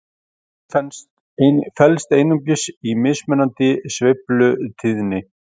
Munurinn felst einungis í mismunandi sveiflutíðni.